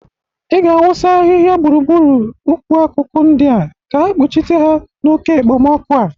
Ị ga-awụsa ahịha gbụrugbụru ukwu akụkụ ndịa ka ha kpuchite ha n'oke ekpemọkụ a.